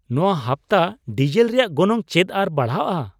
ᱱᱚᱶᱟ ᱦᱟᱯᱛᱟ ᱰᱤᱥᱮᱞ ᱨᱮᱭᱟᱜ ᱜᱚᱱᱚᱝ ᱪᱮᱫ ᱟᱨ ᱵᱟᱲᱦᱟᱜᱼᱟ ?